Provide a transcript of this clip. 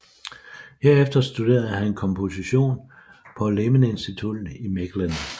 Herefter studerede han komposition på Lemmensinstituut i Mechelen